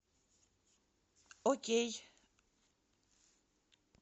окей